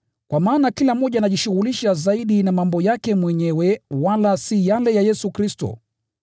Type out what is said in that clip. Kwa maana kila mmoja anajishughulisha zaidi na mambo yake mwenyewe wala si yale ya Yesu Kristo.